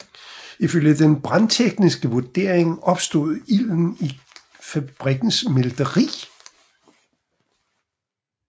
Ifølge den brandtekniske vurdering opstod ilden i fabrikkens smelteri